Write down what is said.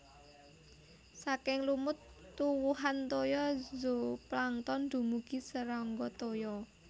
Saking lumut tuwuhan toya zooplankton dumugi serangga toya